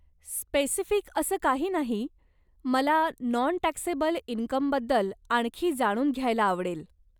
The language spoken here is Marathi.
स्पेसिफिक असं काही नाही, मला नॉन टॅक्सेबल इनकमबद्दल आणखी जाणून घ्यायला आवडेल.